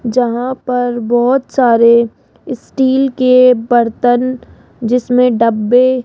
जहां पर बहोत सारे स्टील के बर्तन जिसमें डब्बे --